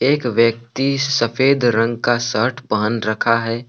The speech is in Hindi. एक व्यक्ति सफेद रंग का शर्ट पहन रखा है।